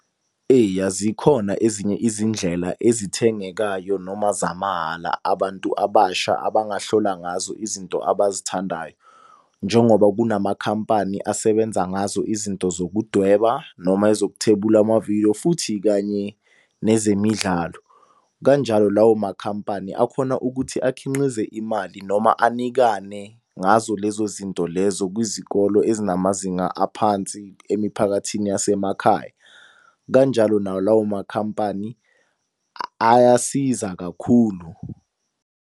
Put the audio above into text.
Eya zikhona ezinye izindlela ezithengekayo noma zamahhala abantu abasha abangahlola ngazo izinto abazithandayo. Njengoba kunamakhampani asebenza ngazo izinto zokudweba noma ezokuthwebula amavidiyo, futhi kanye nezemidlalo. Kanjalo lawo makhampani akhona ukuthi akhinqize imali noma anikane ngazo lezo zinto lezo kwizikolo ezinamazinga aphansi emiphakathini yasemakhaya. Kanjalo nawo lawo makhampani ayasiza kakhulu.